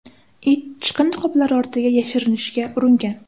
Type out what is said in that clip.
It chiqindi qoplari ortiga yashirinishga uringan.